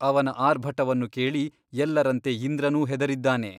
ಅವನ ಆರ್ಭಟವನ್ನು ಕೇಳಿ ಎಲ್ಲರಂತೆ ಇಂದ್ರನೂ ಹೆದರಿದ್ದಾನೆ.